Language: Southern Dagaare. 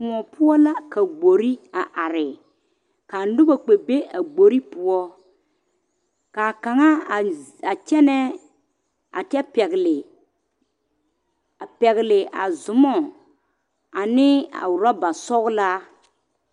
koɔ poɔ la ka gbori a are ka noba kpɛ. be a gbori poɔ kaa kaŋa a kyɛne a pɛgeli a Zuma ane a roober sɔglaa